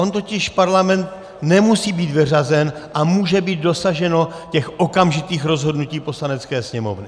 On totiž Parlament nemusí být vyřazen a může být dosaženo těch okamžitých rozhodnutí Poslanecké sněmovny.